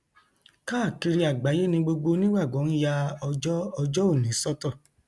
káàkiri àgbáyé ni gbogbo onígbàgbọ ń ya ọjọ ọjọ òní sọtọ